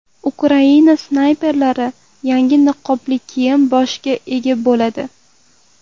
Ukraina snayperlari yangi niqobli kiyim-boshga ega bo‘ladi.